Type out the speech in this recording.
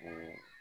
O